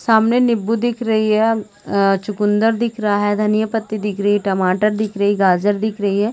सामने नींबू दिख रही है अ चुकंदर दिख रहा है धनिया पत्ती दिख रही हैं टमाटर दिख रही गाजर दिख रही है।